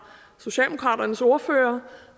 socialdemokraternes ordfører